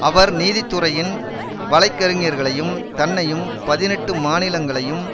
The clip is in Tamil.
அவர் நீதி துறையின் வழைக்கறிஞ்ஞர்களையும் தன்னையும் பதினெட்டு மாநிலங்களையும்